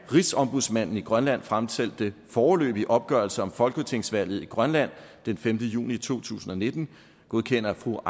rigsombudsmanden i grønland fremsendte foreløbige opgørelse om folketingsvalget i grønland den femte juni to tusind og nitten godkender fru